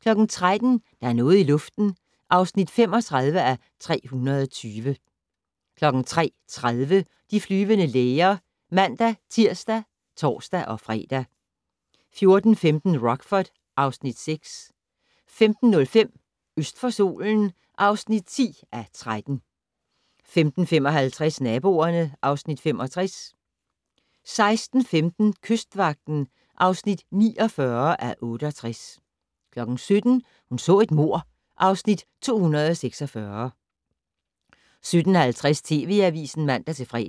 13:00: Der er noget i luften (35:320) 13:30: De flyvende læger (man-tir og tor-fre) 14:15: Rockford (Afs. 6) 15:05: Øst for solen (10:13) 15:55: Naboerne (Afs. 65) 16:15: Kystvagten (49:68) 17:00: Hun så et mord (Afs. 246) 17:50: TV Avisen (man-fre)